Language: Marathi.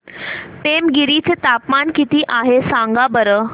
पेमगिरी चे तापमान किती आहे सांगा बरं